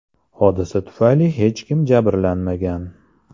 Hodisa tufayli hech kim jabrlanmagan.